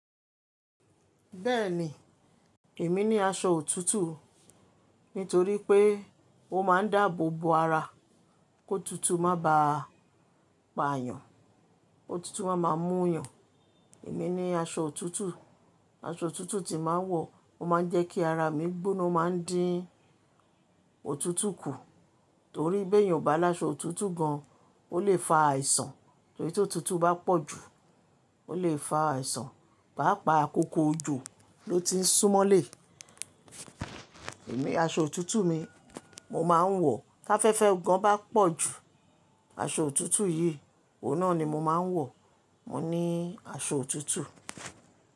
Bẹ́ẹ̀ni, èmi ní aṣọ òtútù. Nítorí pé ó máa ń dáàbò bo ara kó tutù má bá a pa àyàn. Ó tutù máa ma mú yàn. Èmi ní aṣọ òtútù, aṣọ òtútù tí máa ń wọ̀ ó máa ń jẹ́ kí ara mi gbóná má ń dín òtútù kù. Torí bí èèyàn ò bá lá aṣọ òtútù gan, ó lè fa àìsàn. Torí tó tutù bá pọ̀ jù ó lè fa àìsàn. Pàápàá àkókò òjò ló ti ń súmọ́lé. Èmi aṣọ òtútù mi mo máa ń wọ̀ ká fẹ́fẹ́ gan bá pọ̀ jù aṣọ òtútù yìí òun náà ni mo máa ń wọ̀. Mo ní aṣọ òtútù.